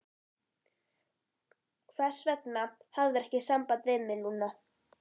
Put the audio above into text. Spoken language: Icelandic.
Hvers vegna hafðirðu ekki samband við mig, Lúna?